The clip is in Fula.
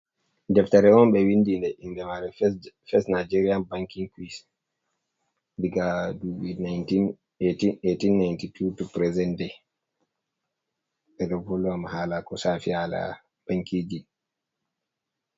Deftere on ɓe windi nde, inde mare fes je, fes Nigerian bankin ku'is diga nduɓi 18 1892 to piresen de. Ɓe ɗo vol wana hala ko shafi hala bankijin.